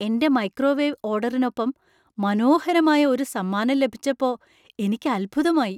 എന്‍റെ മൈക്രോവേവ് ഓർഡറിനൊപ്പം മനോഹരമായ ഒരു സമ്മാനം ലഭിച്ചപ്പോ എനിക്ക് അത്ഭുതമായി.